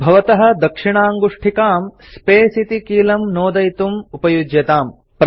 भवतः दक्षिणाङ्गुष्ठिकां स्पेस् इति कीलं नोदयितुं उपयुज्यताम्